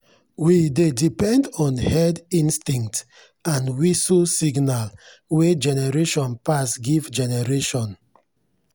we dey depend on herd instinct and whistle signal wey generation pass give generation.